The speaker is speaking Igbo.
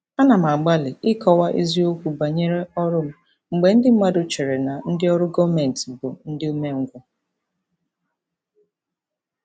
Ana m agbalị ịkọwa eziokwu banyere ọrụ m mgbe ndị mmadụ chere na ndị ọrụ gọọmentị bụ ndị umengwụ.